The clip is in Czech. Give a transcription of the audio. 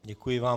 Děkuji vám.